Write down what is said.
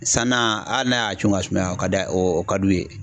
San na hali n'a y'a cun ka sumaya, o ka d'a ye o ka d'u ye.